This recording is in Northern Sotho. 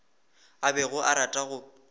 a bego a rata go